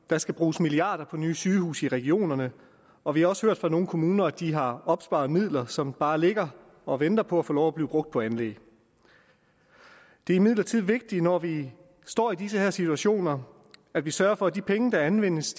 der skal bruges milliarder på nye sygehuse i regionerne og vi har også hørt fra nogle kommuner at de har opsparet midler som bare ligger og venter på at få lov at blive brugt på anlæg det er imidlertid vigtigt når vi står i disse situationer at vi sørger for at de penge der anvendes